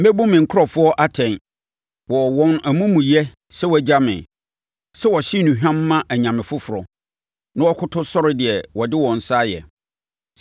Mɛbu me nkurɔfoɔ atɛn wɔ wɔn amumuyɛ sɛ wɔagya me, sɛ wɔhye nnuhwam ma anyame foforɔ na wɔkoto sɔre deɛ wɔde wɔn nsa ayɛ.